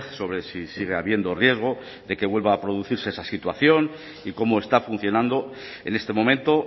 sobre si sigue habiendo riesgo de que vuelva a producirse esa situación y cómo está funcionando en este momento